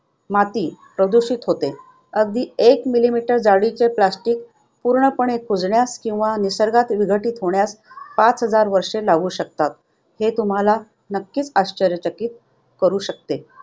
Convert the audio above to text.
माती प्रदूषित होते. अगदी एक millimeter जाडीचे plastic पूर्णपणे कुजण्यास किंवा निसर्गात विघटित होण्यास पाच हजार वर्षे लागू शकतात, जे तुम्हाला आश्चर्यचकित करू शकतात.